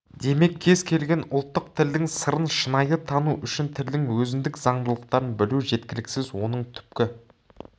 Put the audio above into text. демек кез келген ұлттық тілдің сырын шынайы тану үшін тілдің өзіндік заңдылықтарын білу жеткіліксіз оның түпкі